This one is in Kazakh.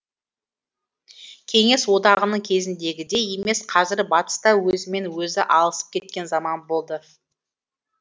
кеңес одағының кезіндегідей емес қазір батыс та өзімен өзі алысып кеткен заман болды